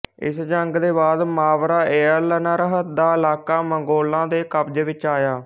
ਇਸ ਜੰਗ ਦੇ ਬਾਅਦ ਮਾਵਰਾਏਅਲਨਹਰ ਦਾ ਇਲਾਕਾ ਮੰਗੋਲਾਂ ਦੇ ਕਬਜ਼ੇ ਵਿੱਚ ਆਇਆ